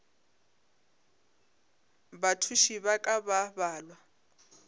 bathuši ba ka ba balwa